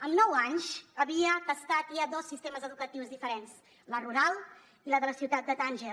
amb nou anys havia tastat ja dos sistemes educatius diferents el rural i el de la ciutat de tànger